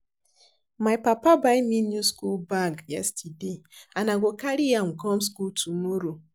My papa buy me new school bag yesterday and I go carry am come school tomorrow